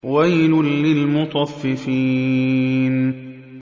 وَيْلٌ لِّلْمُطَفِّفِينَ